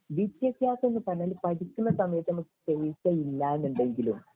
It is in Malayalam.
വിദ്യഭ്യാസം എന്ന് പറഞ്ഞാല് പഠിക്കുന്ന സമയത്ത് നമുക്ക് പൈസ ഇല്ല എന്നുണ്ടെങ്കിലും